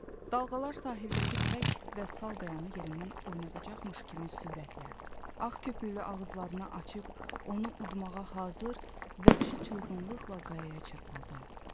Dalğalar sahildəki tək və sal qayanı yerindən oynadacaqmış kimi sürətlə ağ köpüklü ağızlarını açıb, onu udmağa hazır vəhşi çılgınlıqla qayaya çırpıldı.